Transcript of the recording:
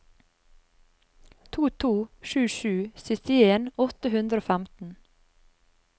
to to sju sju syttien åtte hundre og femten